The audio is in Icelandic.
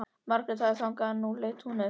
Margrét hafði þagað en nú leit hún upp.